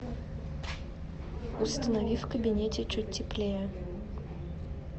установи в кабинете чуть теплее